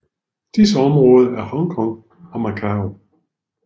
Disse områder er Hong Kong og Macau